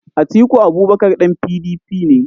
Atiku Abubakar ɗan PDP ne.